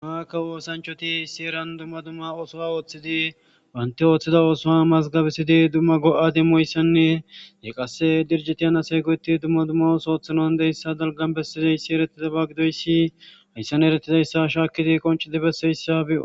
haaakka woosanchoti sieran dumma dumma ooso ooththidi wanti ooththida oosoa mazgabisidi dumma go7a dimmoyssanne de qasse dirjetiyan asay goyeti dumma dummo sooththanoan deyssa dalgan bessizoyssi eretiza ba gidoyssi hayssan eretizayssa shaakidi qoncidi besseyssa bi7oo